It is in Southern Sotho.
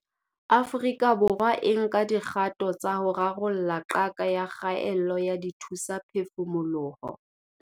Afrika Borwa e nka dikgato tsa ho rarolla qaka ya kgaello ya dithusaphefumoloho.